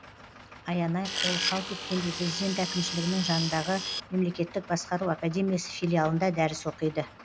аянай қолы қалт еткенде президент әкімшілігінің жанындағы мемлекеттік басқару академиясы филиалында дәріс оқиды